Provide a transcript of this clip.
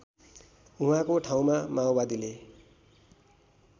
उहाँको ठाउँमा माओवादीले